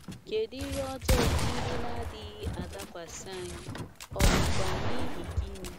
Kedu ihe ọjọọ ndị na - adịghị adakwasị anyị, ọ̀ bụkwa n’ihi gịnị?